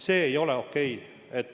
See ei ole okei.